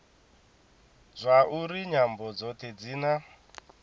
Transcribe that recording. zwauri nyambo dzothe dzi na